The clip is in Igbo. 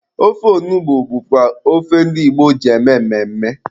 Ofe onugbu bụkwa ofe ndi Igbo ji eme mmemme.